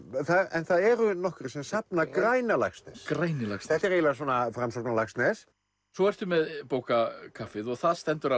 en það eru nokkrir sem safna græna Laxness þetta er eiginlega svona Framsóknar Laxness svo ertu með bókakaffið og það stendur